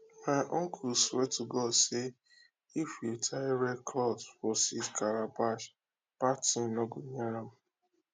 my uncle swear to god say if you tie red cloth for seed calabash bad thing no go near am